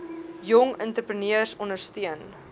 jong entrepreneurs ondersteun